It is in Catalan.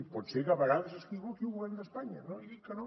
i pot ser que a vegades s’equivoqui el govern d’espanya no li dic que no